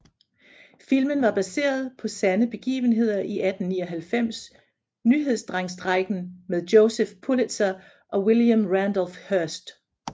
Filmen var baseret på sande begivenheder i 1899 nyhedsdrengstrejken med Joseph Pulitzer og William Randolph Hearst